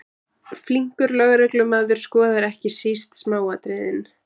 Flinkur lögreglumaður skoðar ekki síst smáatriðin.